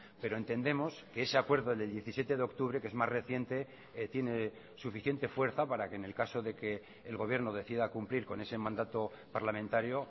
pero entendemos que ese acuerdo del diecisiete de octubre que es más reciente tiene suficiente fuerza para que en el caso de que el gobierno decida cumplir con ese mandato parlamentario